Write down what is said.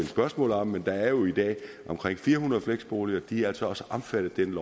spørgsmål om men der er jo i dag omkring fire hundrede fleksboliger og de er altså også omfattet af den